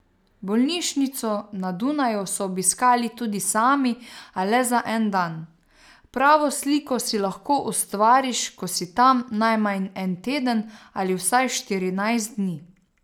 Bolnišnico na Dunaju so obiskali tudi sami, a le za en dan: "Pravo sliko si lahko ustvariš, ko si tam najmanj en teden ali vsaj štirinajst dni.